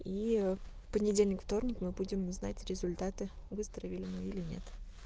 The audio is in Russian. и в понедельник вторник мы будем знать результаты выздоровели мы или нет